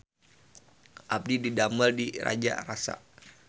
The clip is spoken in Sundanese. Abdi didamel di Raja Rasa